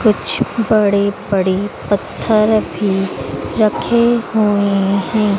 कुछ बड़े बड़े पत्थर भी रखे हुए हैं।